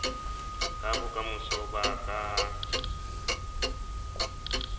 ka bokamoso ba ka ha